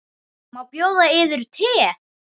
Má bjóða yður te?